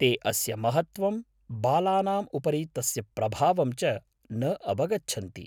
ते अस्य महत्त्वं, बालानाम् उपरि तस्य प्रभावं च न अवगच्छन्ति।